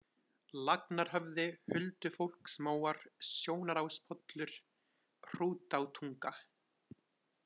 Lagnarhöfði, Huldufólksmóar, Sjónaráspollur, Hrútátunga